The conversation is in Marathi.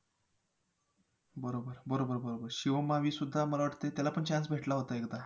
बरोबर, बरोबर बरोबर शिवम मावी सुद्धा मला वाटतंय त्याला पण chance भेटला होता एकदा